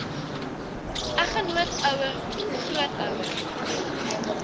eggenoot ouer grootouer